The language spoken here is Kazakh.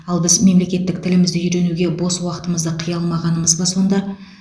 ал біз мемлекеттік тілімізді үйренуге бос уақытымызды қия алмағанымыз ба сонда